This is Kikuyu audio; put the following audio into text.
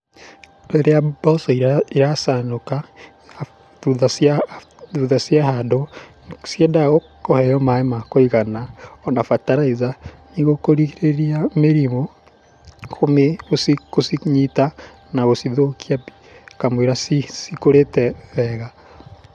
Rĩrĩa mboco iracanũka, thutha ciahandwo, ciendaga kũheo maĩ ma kũigana ona bataraitha, nĩguo kũrigĩrĩria mĩrimũ gũcinyita na gũcithũkia kamũira cikũrĩte wega.